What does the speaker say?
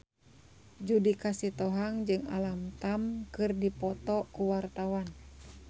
Judika Sitohang jeung Alam Tam keur dipoto ku wartawan